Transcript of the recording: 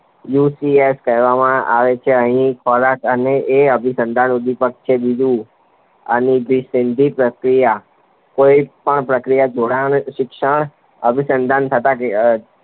UCS કહેવામાં આવે છે અહીં ખોરાક અને એ અભિસન્ધાન ઉદ્દીપકછે. બીજું અનભિસંધિત પ્રતિક્રિયા કોઈપણ પ્રકારનાં જોડાણ શિક્ષણ અભિસંધાન થયા